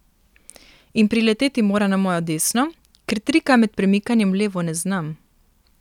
In prileteti mora na mojo desno, ker trika med premikanjem v levo ne znam.